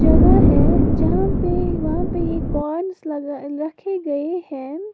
जगह है जहां पे वहां पे ये कॉर्नस लगा रखे गए हैं।